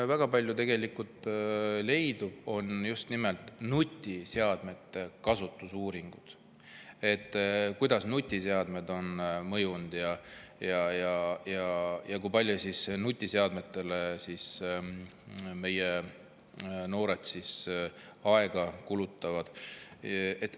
Väga palju leidub just nimelt nutiseadmete kasutamise uuringuid, kuidas nutiseadmed on mõjunud ja kui palju meie noored nutiseadmetele aega kulutavad.